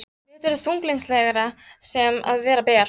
Vetur er þunglyndislegri sem og vera ber.